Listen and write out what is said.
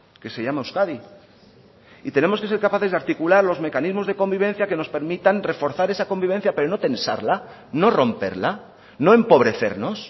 que se llama euskadi y tenemos que ser capaces de articular los mecanismos de convivencia que nos permitan reforzar esa convivencia pero no tensarla no romperla no empobrecernos